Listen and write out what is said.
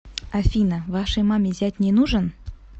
афина вашей маме зять не нужен